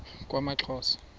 kwaxhosa